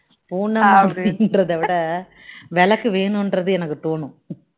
பூனை அப்படின்றத விட விளக்கு வேணும்றது எனக்கு தோணும்